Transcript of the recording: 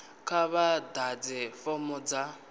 kha vha ḓadze fomo dza